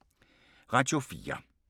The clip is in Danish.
Radio 4